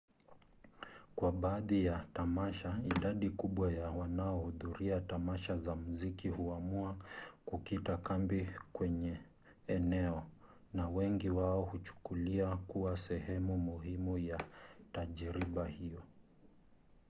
kwa baadhi ya tamasha idadi kubwa ya wanaohudhuria tamasha za muziki huamua kukita kambi kwenye eneo na wengi wao hukuchukulia kuwa sehemu muhimu ya tajriba hiyo